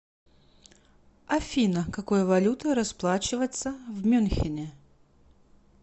афина какой валютой расплачиваться в мюнхене